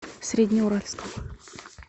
среднеуральском